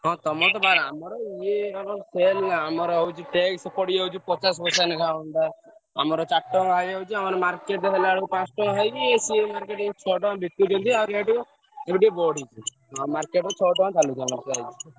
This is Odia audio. ହଁ ତମର ତ ବାର ଟଙ୍କା ଆମର ତ ଇଏ sale ଆମର ହଉଛି tax ପଡ଼ିଯାଉଛି ପଚାଶ ପଇସା ଲେଖାଁ ଅମତ ଚାରିତାଙ୍କ ହେଇଯାଉଛି market ରେ ହେଲେ ପାଞ୍ଚ ଟଙ୍କା ଏମିତି ହେଇକି ଶହେ ଟଙ୍କା ବିକୁଛନ୍ତି, ଏବେ ଟିକେ ବଢିଛି market ରେ ଛଅ ଟଙ୍କା ଚଳୁଛି ଆମର ସେଇଆ।